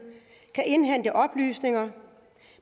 kan indhente oplysninger